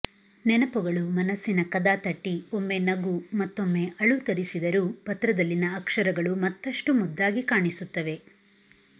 ನೆನಪುಗಳು ಮನಸ್ಸಿನ ಕದ ತಟ್ಟಿ ಒಮ್ಮೆ ನಗು ಮತ್ತೊಮ್ಮೆ ಅಳು ತರಿಸಿದರೂ ಪತ್ರದಲ್ಲಿನ ಅಕ್ಷರಗಳು ಮತ್ತಷ್ಟು ಮುದ್ದಾಗಿ ಕಾಣಿಸುತ್ತವೆ